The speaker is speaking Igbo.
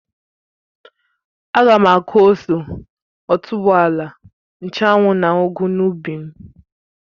Ága m aku ose, otuboala, nchụ́anwu na ugu n'ubi m